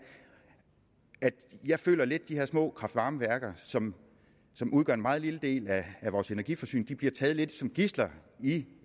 at jeg føler lidt at de her små kraft varme værker som som udgør en meget lille del af vores energiforsyning bliver taget lidt som gidsler i